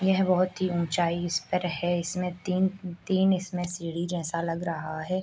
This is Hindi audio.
यह बहुत ही उंचाई इस पर है इसने तीन तीन इसमें सीढ़ी जैसा लग रहा है।